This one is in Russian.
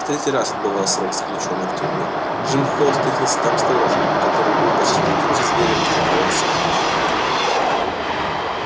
в третий раз отбывая срок заключённый в тюрьме джим холл встретил там сторожа который был почти таким же зверем как и он сам